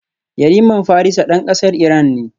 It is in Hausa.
Yariman Farisa dan kasar Iran ne